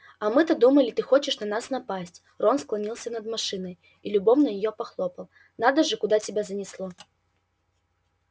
а мы то думали ты хочешь на нас напасть рон склонился над машиной и любовно её похлопал надо же куда тебя занесло